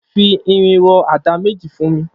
Fi irin rọ àdá méji fùn mi